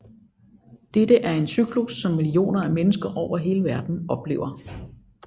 Dette er en cyklus som millioner af mennesker over hele verden oplever